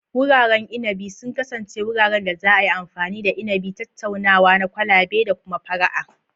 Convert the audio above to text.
Wuraren inabi sun kasance wuraren da za a yi amfani da inabi, tattaunawa na kwalabe, da kuma fara'a.